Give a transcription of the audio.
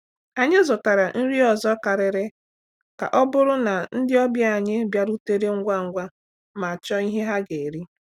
Anyị zụtara nri ọzọ karịrị ka ọ bụrụ na ndị ọbịa anyị bịarutere ngwa ngwa ma chọọ ihe ha ga-eri.